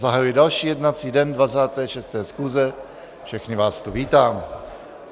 Zahajuji další jednací den 26. schůze, všechny vás tu vítám.